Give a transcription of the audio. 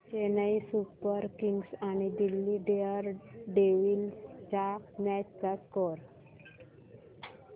Chennai Super Kings आणि Delhi Daredevils च्या match चा स्कोअर